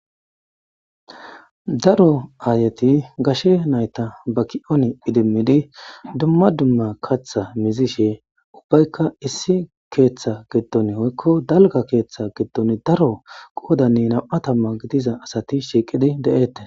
Daro aayeti gashe nayta ba kiyon idimidi dumma dumma kaththa muzishe woyko issi kettha giddon woyko dalga keetha giddon daro qoodani nam'u tamma gidiza asati doosona.